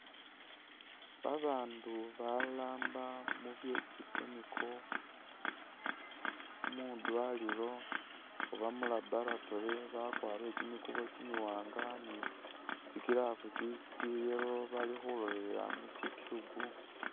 Babaandu baramba mu bye tsi chemical mwi dwaliro oba mu laboratory bakwarire kimikubo kimiwaanga ni tsi gloves tsya yellow bali kholelela mu tsi tube.